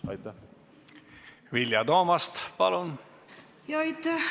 Aitäh!